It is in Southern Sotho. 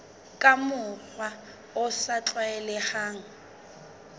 ka mokgwa o sa tlwaelehang